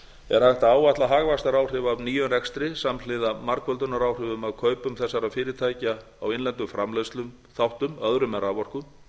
hægt að áætla hagvaxtaráhrif af nýjum rekstri samhliða margföldunaráhrifum af kaupum þessara fyrirtæki á innlendum framleiðsluþáttum öðrum en raforku